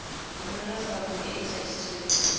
romela foromo e e tladitsweng